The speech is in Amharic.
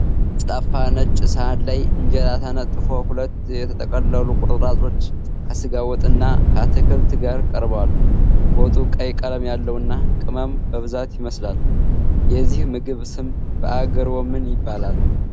ጠፍጣፋ ነጭ ሳህን ላይ እንጀራ ተነጥፎ፣ ሁለት የተጠቀለሉ ቁርጥራጮች ከስጋ ወጥ እና ከአትክልት ጋር ቀርበዋል። ወጡ ቀይ ቀለም ያለውና ቅመም የበዛበት ይመስላል። የዚህ ምግብ ስም በአገርዎ ምን ይባላል?